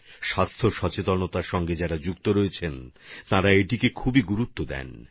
স্বাস্থ্য সচেতন মানুষ একে খুবই গুরুত্ব দিচ্ছেন